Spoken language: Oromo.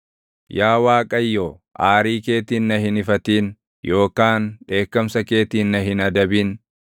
Yaa Waaqayyo, aarii keetiin na hin ifatin yookaan dheekkamsa keetiin na hin adabin.